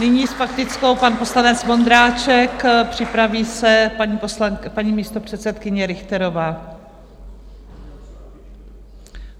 Nyní s faktickou pan poslanec Vondráček, připraví se paní místopředsedkyně Richterová.